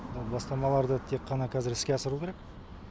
бастамаларды тек қана қазір іске асыру керек